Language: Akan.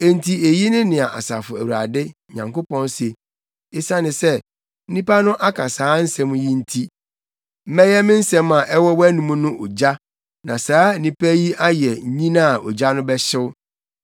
Enti eyi ne nea Asafo Awurade, Nyankopɔn se: “Esiane sɛ, nnipa no aka saa nsɛm yi nti, mɛyɛ me nsɛm a ɛwɔ wʼanom no ogya na saa nnipa yi ayɛ nnyina a ogya no bɛhyew.